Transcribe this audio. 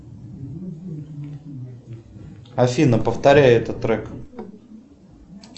афина повторяй этот трек